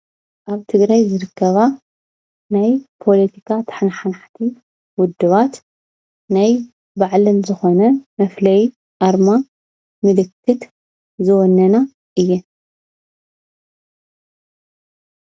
ኣብ ትግራይ ዝርከባ ናይ ፖለቲካ ተናሓናሕቲ ውድባት ናይ ባዕለን ዝኮነ መፍለዪ ኣርማ ምልክት ዝወነና እየን፡፡